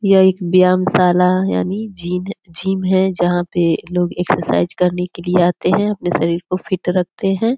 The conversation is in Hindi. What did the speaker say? यह एक व्यायाम शाला यानि जिन जिम है जहां पे लोग एक्सरसाइज करने के लिए आते है अपने शरीर को फिट रखते है।